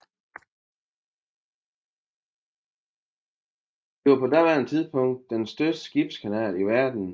Det var på daværende tidspunkt den største skibskanal i verden